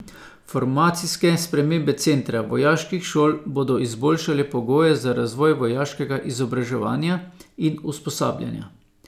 Formacijske spremembe centra vojaških šol bodo izboljšale pogoje za razvoj vojaškega izobraževanja in usposabljanja.